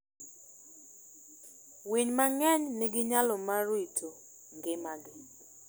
Winy mang'eny nigi nyalo mar rito ngimagi.